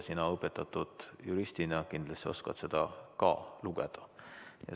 Sina õpetatud juristina kindlasti oskad seda ka lugeda.